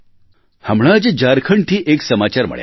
હમણાં જ ઝારખંડથી એક સમાચાર મળ્યા